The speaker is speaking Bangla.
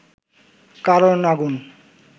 কারণ আগুন